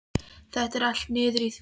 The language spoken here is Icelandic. Þetta er allt liður í því?